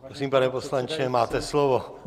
Prosím, pane poslanče, máte slovo.